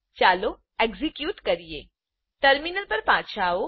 ચાલો એક્ઝેક્યુટ કરીએ ટર્મિનલ પર પાછા આવો